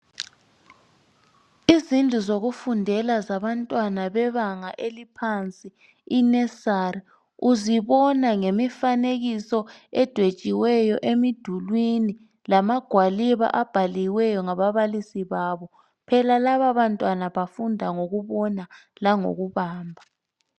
Izindlu zokufundela zabantwana bebanga eliphansi i"Nusery" uzibona ngemifanekiso edwetshiweyo emidulwini lamagwaliba abhaliweyo ngababalisi babo, phela laba bantwana bafunda ngokubona langokubamba.